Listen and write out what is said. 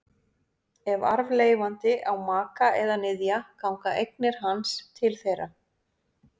Ef arfleifandi á maka eða niðja ganga eignir hans til þeirra.